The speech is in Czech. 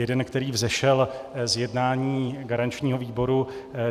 Jeden, který vzešel z jednání garančního výboru.